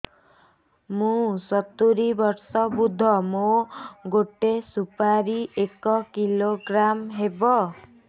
ମୁଁ ସତୂରୀ ବର୍ଷ ବୃଦ୍ଧ ମୋ ଗୋଟେ ସୁପାରି ଏକ କିଲୋଗ୍ରାମ ହେବ